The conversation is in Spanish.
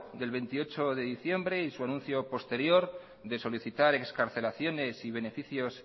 del veintiocho de diciembre y su anuncio posterior de solicitar excarcelaciones y beneficios